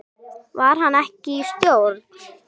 Var hann ekki í stjórn?